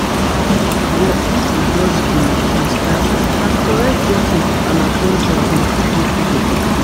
e no go work if you just dey freestyle. na correct jotting and at ten tion go give you freedom